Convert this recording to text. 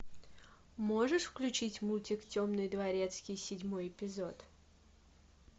можешь включить мультик темный дворецкий седьмой эпизод